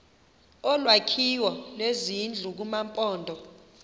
olwakhiwo lwezindlu kumaphondo